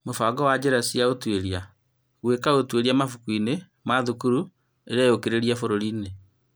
Mũbango wa njĩra cia ũtũĩria, gũĩka ũtũĩria mabukuinĩ ma thukuru ĩreyũkĩrĩria bũrũri-inĩ